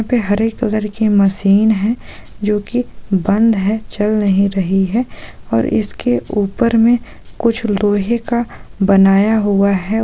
पे हरे कलर की मशीन है जो की बंद है चल नहीं रही है और इसके ऊपर मे कुछ लोहे का बनाया हुआ है।